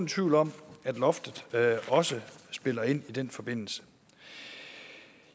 tvivl om at loftet også spiller ind i den forbindelse